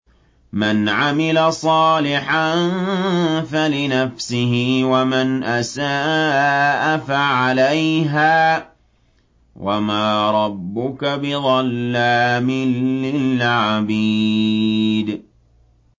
مَّنْ عَمِلَ صَالِحًا فَلِنَفْسِهِ ۖ وَمَنْ أَسَاءَ فَعَلَيْهَا ۗ وَمَا رَبُّكَ بِظَلَّامٍ لِّلْعَبِيدِ